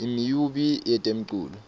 imiumbi yetemculo